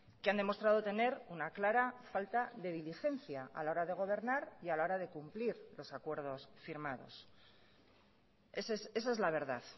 que han demostrado tener una clara falta de diligencia a la hora de gobernar y a la hora de cumplir los acuerdos firmados esa es la verdad